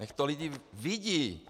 Ať to lidi vidí.